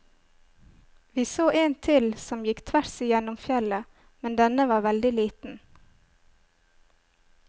Vi så en til som gikk tvers igjennom fjellet, men denne var veldig liten.